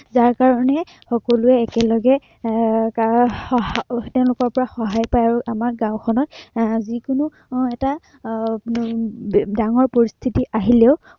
যাৰ কাৰনে সকলোৱে একেলগে এৰ কাৰো সহায় এৰ তেওঁলোকৰ সহায় পায় আৰু আমাৰ গাঁওখনত এৰ যি কোনো এৰ এটা ডাঙৰ পৰিস্থিতি আহিলেও